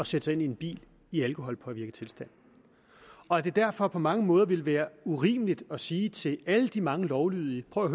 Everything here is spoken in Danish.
sætte sig ind i en bil i alkoholpåvirket tilstand og at det derfor på mange måder ville være urimeligt at sige til alle de mange lovlydige prøv at